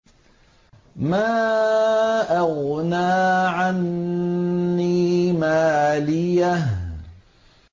مَا أَغْنَىٰ عَنِّي مَالِيَهْ ۜ